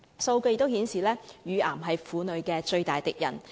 數據顯示，乳癌是婦女的最大敵人。